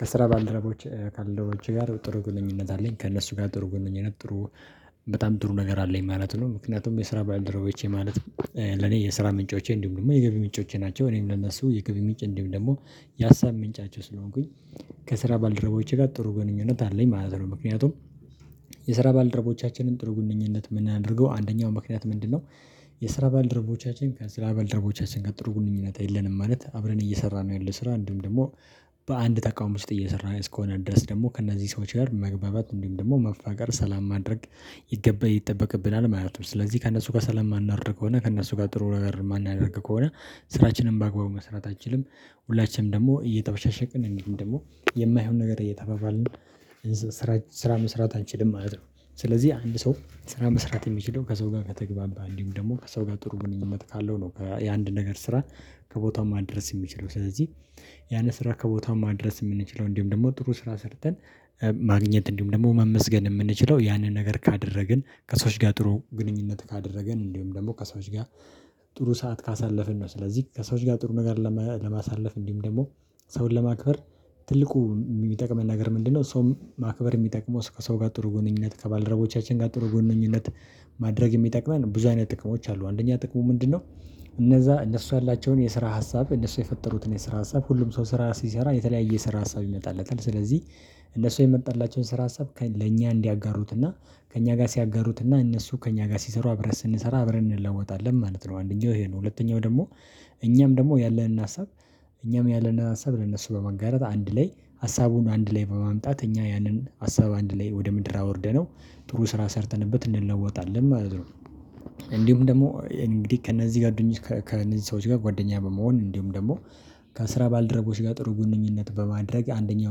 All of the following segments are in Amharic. ከስራ ባልደረቦቼ ካልደረቦቼ ጋር ጥሩ ግንኙነት አለኝ ከእነሱ ጋር ጥሩ ግንኙነት ጥሩ በጣም ጥሩ ነገር አለኝ ማለት ነው። ምክንያቱም የስራ ባልደረበቼ ማለት ለኔ የስራ ምንጮቼ እንዲሁም ደግሞ የገቢ ምንጮቼ ናቸው። እኔም ለነሱ የገቢ ምንጭ እንዲሁም ደግሞ የሀሳብ ምንጫቸው ስለሆንኩኝ። ከስራ ባልደረቦቼ ጋር ጥሩ ግንኙነት አለኝ ማለት ነው። ምክንያቱም የስራ ባልደረቦቻችንን ጥሩ ግንኙነት የምናደርገው አንደኛው ምክንያት ምንድነው? የስራ ባልደረቦቻችን ከስራ ባልድረቦቻችን ጋር ጥሩ ግንኙነት የለንም ማለት አብረን እየሰራነው ያለው ስራ እንዲሁም ደግሞ በአንድ ተቋም ውስጥ እየሰራን እስከሆነ ድረስ ደግሞ ከእነዚህ ሰዎች ጋር መግባባት እንዲሁም ደግሞ መፋቀር ሰላም ማድረግ ይገባ ይጠበቅብናል ማለት ነው። ስለዚህ ከእነሱ ጋር ሰላም የማናወርድ ከሆነ ከእነሱ ጋር ጥሩ ነገር የማናደርግ ከሆነ ስራችንም በአግባቡ መስራት አንችልም። ሁላችንም ደግሞ እየተበሻሸቅን እንዲሁም ደግሞ የማይሆን ነገር እየተባባልን ስራ ስራ መስራት አንችልም ማለት ነው። ስለዚህ አንድ ሰው ስራ መስራት የሚችለው ከሰው ጋር ከተግባባ እንዲሁም ደግሞ ከሰው ጋር ጥሩ ግንኙነት ካለው ነው የአንድን ነገር ስራ ከቦታው ማድረስ የሚችለው ስለዚህ። ያንን ስራ ከቦታው ማድረስ የምንችለው እንዲሁም ደግሞ ጥሩ ስራ ሰርተን ማግኘት እንዲሁም ደግሞ መመስገን የምንችለው ያንን ነገር ካደረግን ከሰዎች ጋር ጥሩ ግንኙነት ካደረግን እንዲሁም ደግሞ ከሰዎች ጋር ጥሩ ሰዓት ካሳለፍን ነው። ስለዚህ ከሰዎች ጋር ጥሩ ነገር ለማሳለፍ እንዲሁም ደግሞ ሰውን ለማክበር ትልቁ የሚጠቅመን ነገር ምንድነው? ሰውም ማክበር የሚጠቅመው ከሰው ጋር ጥሩ ግንኙነት ከባለደረቦቻችን ጋር ጥሩ ግንኙነት ማድረግ የሚጠቅመን ብዙ አይነት ጥቅሞች አሉ። አንደኛ ጥቅሙ ምንድነው? እነዛ እነሱ ያላቸውን የስራ ሀሳብ እነሱ የፈጠሩትን የስራ ሀሳብ ሁሉም ሰው ስራ ሲሰራ የተለያየ ስራ ሀሳብ ይመጣለታል ስለዚህ እነሱ የመጣላቸውን ስራ ሀሳብ ለእኛ እንዲያጋሩት እና ከእኛ ጋር ሲያጋሩት እና እነሱ ከእኛ ጋር ሲሰሩ አብረን ስንሰራ አብረን እንለወጣለን ማለት ነው። አንደኛው ይሄ ነው። ሁለተኛው ደግሞ እኛም ደግሞ ያለንን ሀሳብ እኛም ያለንን ሀሳብ ለነሱ በማጋራት አንድ ላይ ሀሳቡን አንድ ላይ በማምጣት እኛ ያንን ሀሳብ አንድ ላይ ወደ ምድር አወርደነው ጥሩ ስራ ሰርተንበት እንለወጣለን ማለት ነው። እንዲሁም ደግሞ እንግዲህ ከእነዚህ ጋር ከእነዚህ ሰዎች ጋር ጓደኛ በመሆን እንዲሁም ደግሞ ከስራ ባልደረቦች ጋር ጥሩ ግንኙነት በማድረግ አንደኛው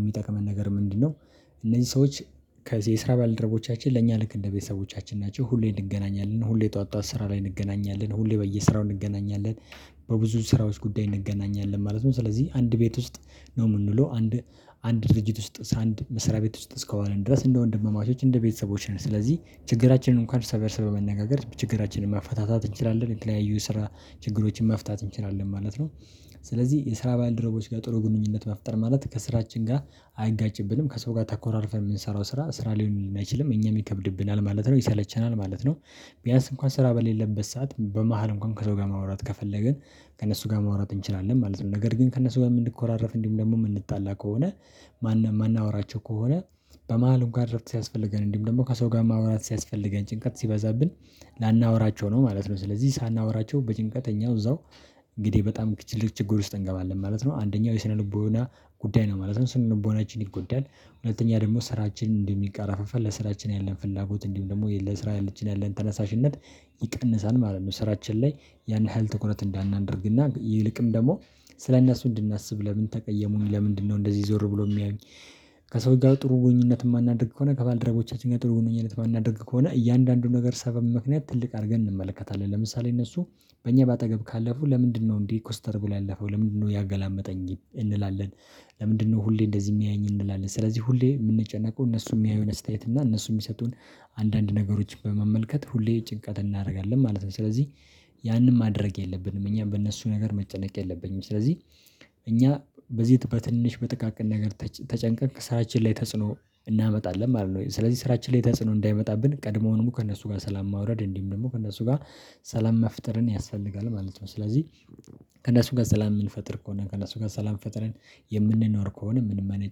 የሚጠቅመን ነገር ምንድነው? እነዚህ ሰዎች ከዚህ የስራ ባልደረቦቻችን ለእኛ ልክ እንደ ቤተሰቦቻችን ናቸው። ሁሌ እንገናኛለን ሁሌ ጠዋት ጠዋት ስራ ላይ እንገናኛለን ሁሌ በየስራው እንገናኛለን በብዙ ስራዎች ጉዳይ እንገናኛለን ማለት ነው። ስለዚህ አንድ ቤት ውስጥ ነው የምኑለው አንድ አንድ ድርጅት ውስጥ አንድ መስሪያ ቤት ውስጥ እስከዋለን ድረስ እንደ ወንድማማቾች እንደ ቤተሰቦች ነን። ስለዚህ ችግራችንን እንኳን እርስ በእርስ በመነጋገር ችግራችንን ማፋታታት እንችላለን የተለያዩ የስራ ችግሮችን መፍታት እንችላለን ማለት ነው። ስለዚህ የስራ ባልደረቦች ጋር ጥሩ ግንኙነት መፍጠር ማለት ከስራችን ጋር አይጋጭብንም ከሰው ጋር ተኮራርፈን የምንሰራው ስራ ስራ ሊሆንልን አይችልም እኛም ይከብድብናል ማለት ነው ይሰለቸናል ማለት ነው። ቢያንስ እንኳን ስራ በሌለበት ሰዓት በመሃል እንኳን ከሰው ጋር ማውራት ከፈለግን ከእነሱ ጋር ማውራት እንችላለን ማለት ነው። ነገር ግን ከእነሱ ጋር የምንኮራረፍ እንዲሁም ደግሞ የምንጣላ ከሆነ ማን ማናወራቸው ከሆነ በመሃል እንኳን እረፍት ሲያስፈልገን እንዲሁም ደግሞ ከሰው ጋር ማውራት ሲያስፈልገን ጭንቀት ሲበዛብን ላናወራቸው ነው ማለት ነው። ስለዚህ ሳናወራቸው በጭንቀት እኛው እዛው እንግዲህ በጣም ትልቅ ችግር ውስጥ እንገባለን ማለት ነው። አንደኛው የስነ ልቦና ጉዳይ ነው ማለት ነው። ስነ ልቦናችን ይጎዳል። ሁለተኛ ደግሞ ስራችን እንደሚቃረፍፍ ለስራችን ያለን ፍላጎት እንዲሁም ደግሞ የለስራችን ያለን ተነሳሽነት ይቀንሳል ማለት ነው። ስራችን ላይ ያን ያህል ትኩረት እንዳናደርግ እና ይልቅም ደግሞ ስለእነሱ እንድናስብ ለምን ተቀየሙኝ ለምንድነው እንደዚህ ዞር ብሎ የሚያዩኝ? ከሰው ጋር ጥሩ ግንኙነት የማናደርግ ከሆነ ከባልደረቦቻችን ጋር ጥሩ ግንኙነት የማናደርግ ከሆነ እያንዳንዱን ነገር ሰበብ ምክንያት ትልቅ አድርገን እንመለከታለን። ለምሳሌ እነሱ በእኛ በአጠገብ ካለፉ ለምንድነው እንዲህ ኮስተር ብሎ ያለፈው ለምንድነው ያገላመጠኝ እንላለን። ለምንድነው ሁሌ እንደዚህ የሚያየኝ እንላለን። ስለዚህ ሁሌ የምንጨነቀው እነሱ የሚያዩን አስተያየት እና እነሱ የሚሰጡን አንዳንድ ነገሮችን በመመልከት ሁሌ ጭንቀት እናደርጋለን ማለት ነው። ስለዚህ ያንን ማድረግ የለብንም እኛም በእነሱ ነገር መጨነቅ የለብኝም ስለዚህ። እኛ በዚህ በትንሽ በጥቃቅን ነገር ተጨንቀን ስራችን ላይ ተጽዕኖ እናመጣለን ማለት ነው። ስለዚህ ስራችን ላይ ተጽዕኖ እንዳይመጣብን ቀድሞውኑ ከእነሱ ጋር ሰላም ማውረድ እንዲህም ደግሞ ከእነሱ ጋር ሰላም መፍጠርን ያስፈልጋል ማለት ነው። ስለዚህ ከእነሱ ጋር ሰላም የምንፈጥር ከሆነ ከእነሱ ጋር ሰላም ፈጥረን የምንኖር ከሆነ ምንም አይነት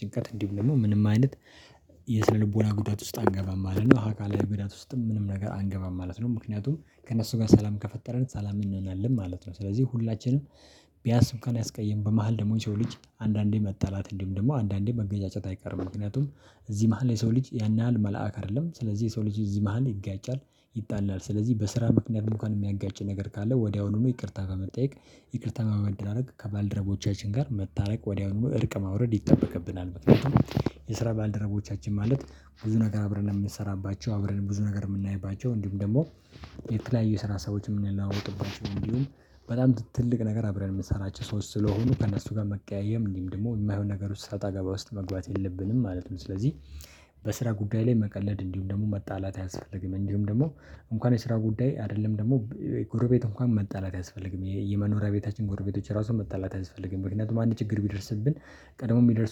ጭንቀት እንዲሁ ደግሞ ምንም አይነት የስነልቦና ጉዳት ውስጥ አንገባም ማለት ነው። አካላዊ ጉዳት ውስጥም ምንም ነገር አንገባም ማለት ነው። ምክንያቱም ከእነሱ ጋር ሰላም ከፈጠረን ሰላም እንሆናለን ማለት ነው። ስለዚህ ሁላችንም ቢያስብ እንኳን ያስቀይም በመሃል ደግሞ የሰው ልጅ አንዳንዴ መጣላት እንዲሁም ደግሞ አንዳንዴ መገጫጨት አይቀርም ምክንያቱም እዚህ መሃል የሰው ልጅ ያን ያህል መልአክ አይደለም። ስለዚህ የሰው ልጅ እዚህ መሃል ይጋጫል ይጣላል። ስለዚህ በስራ ምክንያት እንኳን የሚያጋጭ ነገር ካለ ወዲያውኑ ይቅርታ በመጠየቅ ይቅርታ በመደራረግ ከባልደረቦቻችን ጋር መታረቅ ወዲያውኑ እርቅ ማውረድ ይጠበቅብናል። መጥፎት የስራ ባልደረቦቻችን ማለት ብዙ ነገር አብረን የምንሰራባቸው አብረን ብዙ ነገር የምናይባቸው እንዲሁም ደግሞ የተለያዩ የስራ ሀሳቦችን የምንለዋወጥባቸው እንዲሁም በጣም ትልቅ ነገር አብረን የምንሰራቸው ሰዎች ስለሆኑ ከእነሱ ጋር መቀያየም እንዲሁም ደግሞ የማይሆን ነገር ውስጥ ሰጣ ገባ ውስጥ መግባት የለብንም ማለት ነው። ስለዚህ በስራ ጉዳይ ላይ መቀለድ እንዲሁም ደግሞ መጣላት አያስፈልግም። እንዲሁም ደግሞ እንኳን የስራ ጉዳይ አይደለም ደግሞ ጎረቤት እንኳን መጣላት አያስፈልግም የመኖሪያ ቤታችን ጎረቤቶች ራሱን መጣላት አይስፈልግም። ምክንያቱም አንድ ችግር ቢደርስብን ቀደመው የሚደርስ